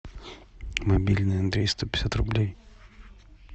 мобильный андрей сто пятьдесят рублей